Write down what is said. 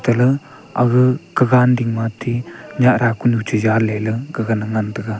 ele aga kagan ding ma ti nyah da ku nu chaza ley gaga na ngan tai ga.